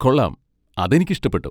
കൊള്ളാം! അതെനിക്ക് ഇഷ്ടപ്പെട്ടു.